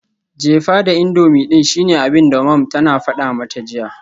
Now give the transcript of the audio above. Jefa da indomie din shine abinda mom tana fada mata jiya.